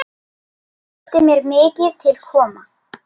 Þótti mér mikið til koma.